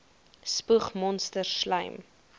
spoeg monsters slym